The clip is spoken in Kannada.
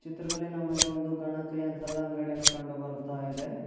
ಚಿತ್ರದಲ್ಲಿ ನಮಗೆ ಒಂದು ಗಣಕಯಂತ್ರದ ಅಂಗಡಿಯನ್ನು ಕಂಡು ಬರುತ್ತಾ ಇದೆ.